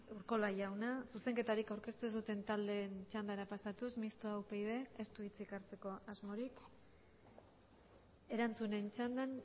urkola jauna zuzenketarik aurkeztu ez duten taldeen txandara pasatuz mistoa upyd ez du hitzik hartzeko asmorik erantzunen txandan